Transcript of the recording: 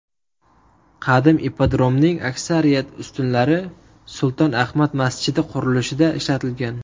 Qadim ippodromning aksariyat ustunlari Sulton Ahmad masjidi qurilishida ishlatilgan.